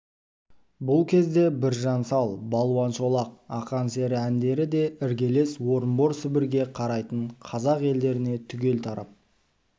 бұл кезде біржан сал балуан шолақ ақан сері әндері де іргелес орынбор сібірге қарайтын қазақ елдеріне түгел тарап